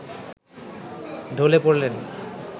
ঢলে পড়লেন